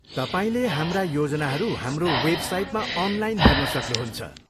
तपाईँले हाम्रा योजनाहरू हाम्रो वेबसाइटमा अनलाइन हेर्न सक्नुहुन्छ।